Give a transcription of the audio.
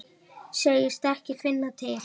Segist ekki finna til.